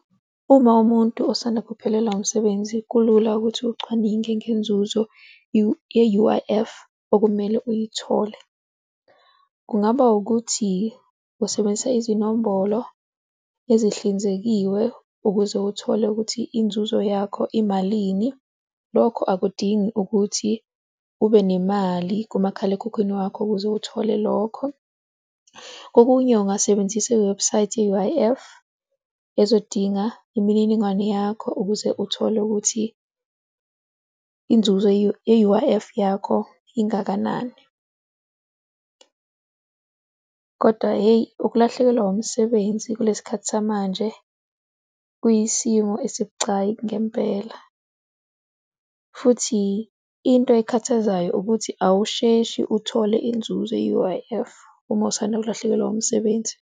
Uma umuntu osanda kuphelelwa umsebenzi, kulula ukuthi ucwaninge ngenzuzo ye-U_I_F, okumele uyithole. Kungaba ukuthi usebenzisa izinombolo ezihlinzekiwe ukuze uthole ukuthi inzuzo yakho imalini. Lokho akudingi ukuthi ube nemali kumakhalekhukhwini wakho ukuze uthole lokho. Kokunye ungasebenzisa iwebhusayithi ye-U_I_F ezodinga imininingwane yakho ukuze uthole ukuthi inzuzo ye-U_I_F yakho ingakanani. Kodwa hheyi, ukulahlekelwa umsebenzi kulesikhathi samanje kuyisimo esibucayi ngempela futhi into ekhathazayo ukuthi awusheshi uthole inzuzo ye-U_I_F uma usanda kulahlekelwa umsebenzi.